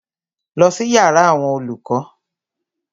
Lọ sí yàrá àwọn olùkọ́!